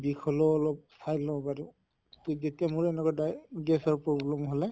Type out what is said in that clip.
বিষ হʼলেও অলপ খাই লও বাৰু। তʼ যেতিয়া মৰ এনেকুৱা দায় gas ৰ problem হʼলে